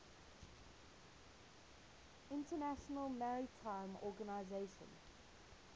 international maritime organization